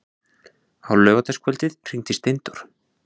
Á laugardagskvöldið hringdi Steindór.